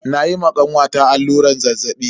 Na yi ma kanwata alluran zazzaɓi.